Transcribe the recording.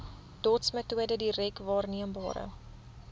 dotsmetode direk waarneembare